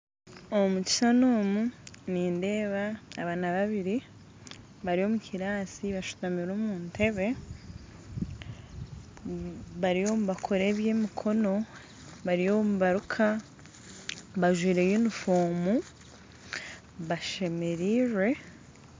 Omu kishuushani omu nindeeba abaana babiiri bari omu kiraasi bashutamire omu ntebbe bariyo nibakora eby'emikono bariyo nibaruka bajwire yunifoomu bashemerirwe